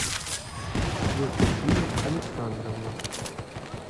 евдокия александровна